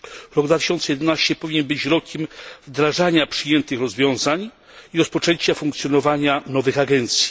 Rok 2011 powinien być rokiem wdrażania przyjętych rozwiązań i rozpoczęcia funkcjonowania nowych agencji.